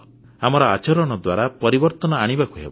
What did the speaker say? ଆମର ଆଚରଣ ଦ୍ୱାରା ପରିବର୍ତ୍ତନ ଆଣିବାକୁ ହେବ